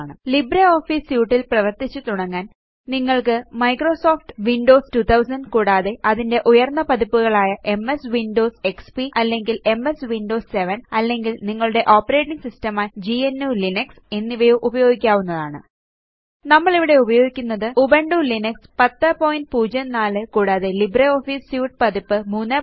LibreOffice suite ല് പ്രവര്ത്തിച്ചു തുടങ്ങാന് നിങ്ങള്ക്ക് മൈക്രോസോഫ്റ്റ് വിൻഡോസ് 2000 കൂടാതെ അതിന്റെ ഉയര്ന്ന പതിപ്പുകളായ എംഎസ് വിൻഡോസ് XPഅല്ലെങ്കില് എംഎസ് വിൻഡോസ് 7 അല്ലെങ്കില് നിങ്ങളുടെ ഓപ്പറേറ്റിംഗ് സിസ്റ്റം ആയി gnuലിനക്സ് എന്നിവയോ ഉപയോഗിക്കാവുന്നതാണ് നമ്മളിവിടെ ഉപയോഗിക്കുന്നത് ഉബുന്റു ലിനക്സ് 1004 കൂടാതെ ലിബ്രിയോഫീസ് സ്യൂട്ട് പതിപ്പ് 334